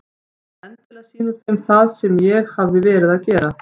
Vildi endilega sýna þeim það sem ég hafði verið að gera.